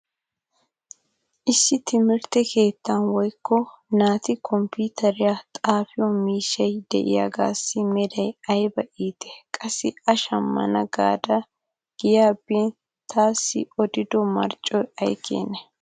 issi timirtte keettaa woykko naati kompiiteriyan xafiyo miishshay diyaagaassi meray ayba iitt! qassi a shamana gaada giyaa bin taassi odido marccoy ay keenee?